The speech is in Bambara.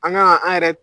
An ka an yɛrɛ